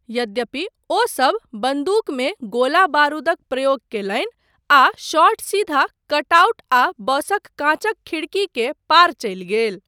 यद्यपि, ओसब बन्दूकमे गोला बारूदक प्रयोग कयलनि, आ शॉट सीधा कटआउट आ बसक कांचक खिड़की के पार चलि गेल।